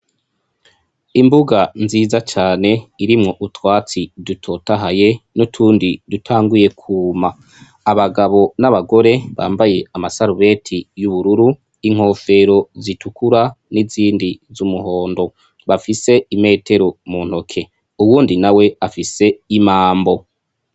Imbuga nziza cane irimwo utwatsi dutotahaye n'utundi dutanguye kuma, abagabo n'abagore bambaye amasarubeti y'ubururu, inkofero zitukura n'izindi z'umuhondo bafise imetero mu ntoke uwundi na we afise imambo.